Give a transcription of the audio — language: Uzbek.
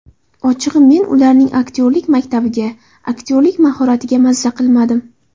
Ochig‘i men ularning aktyorlik maktabiga, aktyorlik mahoratiga mazza qilmadim.